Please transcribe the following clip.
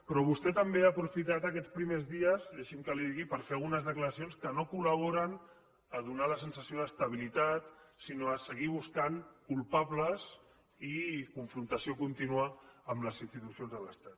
però vostè també ha aprofitat aquests primers dies deixi’m que li ho digui per fer algunes declaracions que no col·laboren a donar la sensació d’estabilitat sinó a seguir buscant culpables i confrontació contínua amb les institucions de l’estat